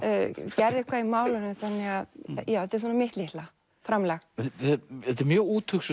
gerðu eitthvað í málinu þannig að þetta er svona mitt litla framlag þetta er mjög úthugsuð